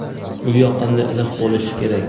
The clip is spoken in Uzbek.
u yoqimli iliq bo‘lishi kerak.